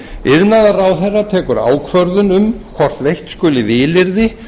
iðnaðarráðherra tekur ákvörðun um hvort veitt skuli vilyrði